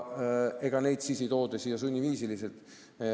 Ega neid tippspetsialiste ei tooda siia sunniviisil.